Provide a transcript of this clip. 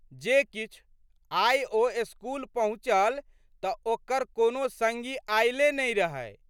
जे किछु, आइ ओ स्कूल पहुँचल तऽ ओकर कोनो सङ्गी अयले नहि रहै।